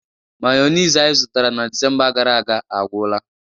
Mayonezi anyị zụtara na Disemba gara aga agwụla